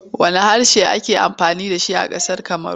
Wanne harshe ake amfani da shi a ƙasar Kamaru?